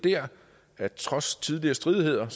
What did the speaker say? at de trods tidligere stridigheder